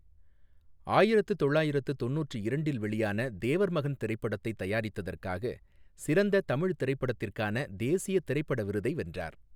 ஆயிரத்து தொள்ளாயிரத்து தொண்ணுற்று இரண்டில் வெளியான தேவர் மகன் திரைப்படத்தை தயாரித்ததற்காக சிறந்த தமிழ் திரைப்படத்திற்கான தேசிய திரைப்பட விருதை வென்றார்.